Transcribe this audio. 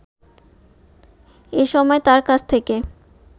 এসময় তার কাছ থেকে